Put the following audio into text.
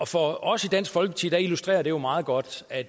for os i dansk folkeparti illustrerer det jo meget godt at